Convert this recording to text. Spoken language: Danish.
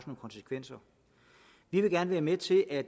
konsekvenser vi vil gerne være med til at